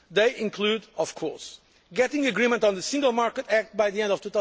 They include getting agreement on the Single Market Act by the end